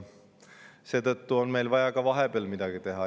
Seetõttu on meil vaja ka vahepeal midagi teha.